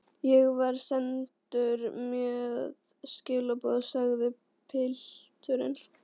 Ég var sendur með skilaboð, sagði pilturinn.